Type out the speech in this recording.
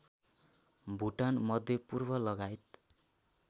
Bhutan मध्यपूर्वलगायत